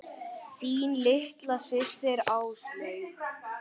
Þín litla systir, Áslaug.